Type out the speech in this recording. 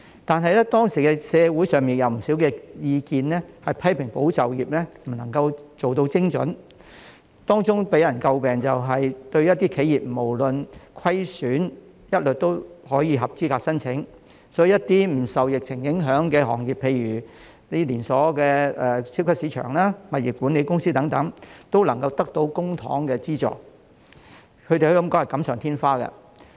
但是，當時社會上有不少意見批評"保就業"計劃不能夠做到精準，當中予人詬病的是企業不論盈虧一律合資格申請，所以一些不受疫情影響的行業，例如連鎖超級市場、物業管理公司等均能得到公帑資助，可以說是錦上添花。